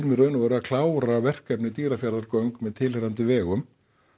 í raun og veru að klára verkefnið Dýrafjarðargöng með tilheyrandi vegum